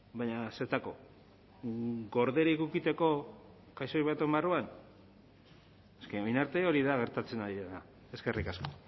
baina zertarako gorderik edukitzeko kaxoi baten barruan orain arte hori da gertatzen ari dena eskerrik asko